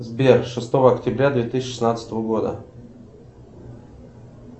сбер шестого октября две тысячи шестнадцатого года